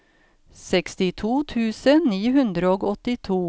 sekstito tusen ni hundre og åttito